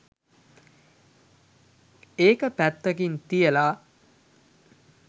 ඒක පැත්තකින් තියාලා